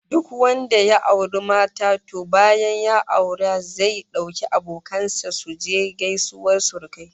Duk wanda ya auri mata, to bayan auren zai dauki abokan sa su je gaisuwar surukai